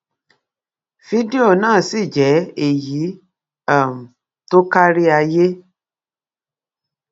fídíò náà sì jẹ èyí um tó kárí ayé